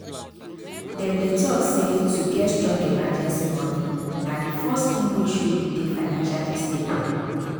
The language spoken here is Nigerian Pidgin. them dey talk say to get strong emergency moni na the first thing wen show you dey financially stable